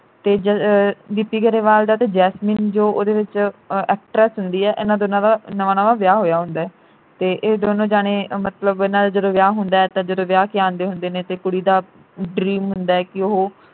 ਤੇ ਆਹ ਗਿੱਪੀ ਗਰੇਵਾਲ ਦਾ ਤੇ ਜੈਸਮੀਨ ਜੋ ਉਹਦੇ ਵਿਚ ਅਹ actress ਹੁੰਦੀ ਐ ਇਨ੍ਹਾਂ ਦੋਨਾਂ ਦਾ ਨਵਾਂ ਨਵਾਂ ਵਿਆਹ ਹੋਇਆ ਹੁੰਦਾ ਤੇ ਇਹ ਦੋਨੋ ਜਾਣੇ ਮਤਲਬ ਇਨ੍ਹਾਂ ਦਾ ਜਦੋਂ ਵਿਆਹ ਹੁੰਦਾ ਤਾਂ ਜਦੋਂ ਵਿਆਹ ਕੇ ਆਏ ਹੁੰਦੇ ਨੇ ਤੇ ਕੁੜੀ ਦਾ dream ਹੁੰਦਾ ਕਿ ਉਹ